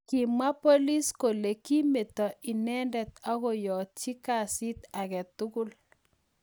Kimwa polis kole kimeto inendet amokiyotchi kesiit agetugul